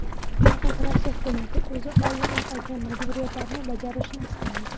Faqat Rossiya hukumati o‘zi oldinroq olgan majburiyatlarini bajarishini istaymiz.